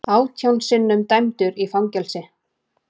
Átján sinnum dæmdur í fangelsi